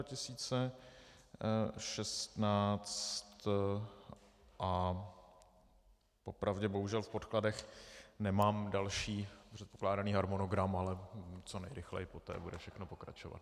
Po pravdě bohužel v podkladech nemám další předpokládaný harmonogram, ale co nejrychleji poté bude všechno pokračovat.